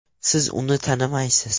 Siz uni tanimaysiz.